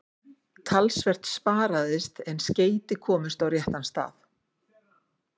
Talsvert sparaðist en skeyti komust á réttan stað.